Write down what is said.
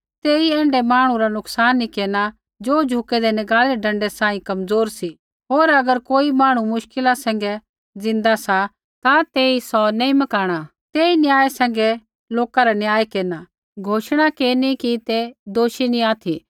तेई ऐण्ढै मांहणु रा नुकसान नैंई केरना ज़ो झुकूदै नगाल़ी रै डँडै सांही कमज़ोर सा होर अगर कोई मांहणु मुश्किल सैंघै ज़िन्दा सा ता तेई सौ नैंई मकाणा तेई न्याय सैंघै लोका रा न्याय केरना एलान केरना कि तै दोषी नी ऑथि